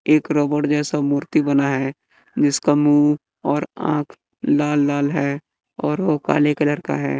एक रबड़ जैसा मूर्ति बना है जिसका मुंह और आंख लाल लाल है और वो काले कलर का है।